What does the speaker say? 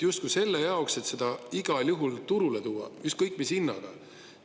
Justkui selle jaoks, et seda igal juhul turule tuua, ükskõik mis hinnaga.